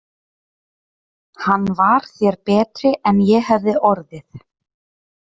Hann var þér betri en ég hefði orðið.